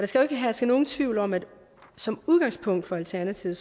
skal ikke herske nogen tvivl om at som udgangspunkt for alternativet